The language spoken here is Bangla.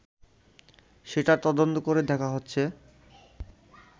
সেটা তদন্ত করে দেখা হচ্ছে